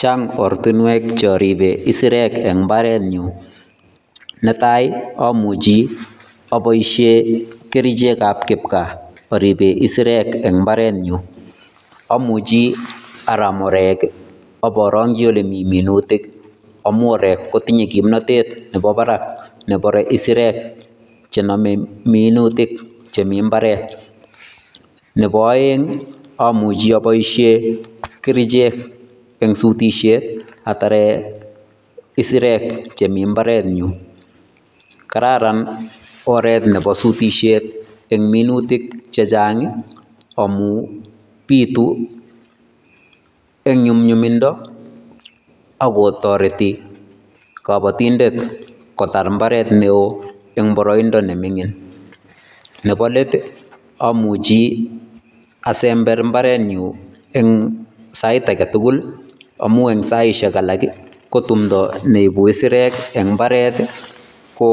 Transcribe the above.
Chang ortinwek choriben isirek en imbarenyun netai amuchi aboishen kerichekab kipkaa oriben isirek eng' imbarenyun, amuchi aram oreek ak iborongyi olemii minutik amun oreek kotinye kimnotet nebo barak nebire isirek chenome minutik chemii imbaret, nebo oeng amuchi aboishen kerichek asutishen ataree isirek chemii imbarenyun, kararan oreet nebo sutishet nebo minutik chechang amun bituu eng' nyumnyumindo ak ko toreti kobotindet kotar imbaret neoo eng' boroindo neming'in, nebo leet amuchi asember imbarenyun en sait aketukul amun en sait akee ko timndo neibu isirek eng' imbaret ko